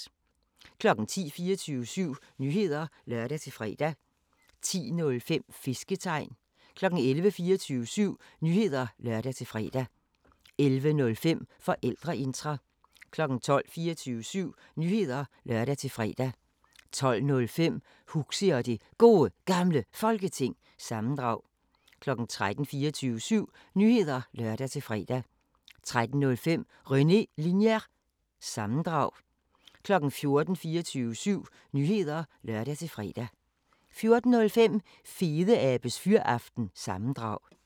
10:00: 24syv Nyheder (lør-fre) 10:05: Fisketegn 11:00: 24syv Nyheder (lør-fre) 11:05: Forældreintra 12:00: 24syv Nyheder (lør-fre) 12:05: Huxi og det Gode Gamle Folketing – sammendrag 13:00: 24syv Nyheder (lør-fre) 13:05: René Linjer- sammendrag 14:00: 24syv Nyheder (lør-fre) 14:05: Fedeabes Fyraften – sammendrag